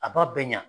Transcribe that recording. A b'a bɛɛ ɲa